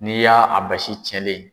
N'i y'a basi cɛlen